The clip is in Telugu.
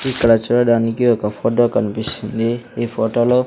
ఇక్కడ చూడడానికి ఒక ఫొటో కనిపిస్తుంది ఈ ఫొటో లో --